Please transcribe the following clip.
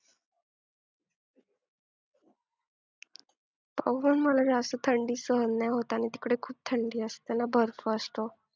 बघू, मला जास्त थंडी सहन नाही होत आणि तिकडे खूप थंडी असते ना बर्फ असतो.